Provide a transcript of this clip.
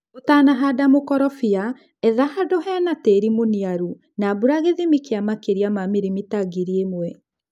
ũtanahanda mũkorofia etha handũhena tĩri mũniaru na mbura gĩthimi kĩa makĩria ma milimita ngiri imwe.